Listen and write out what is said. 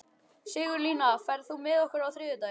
Sigurlína, ferð þú með okkur á þriðjudaginn?